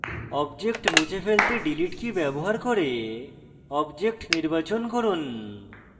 object মুছতে delete key ব্যবহার করে object নির্বাচন করুন